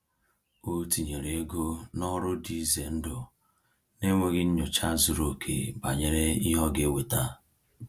O tinyere ego n’ọrụ dị ize ndụ n’enweghị nyocha zuru oke banyere ihe ọ ga-eweta.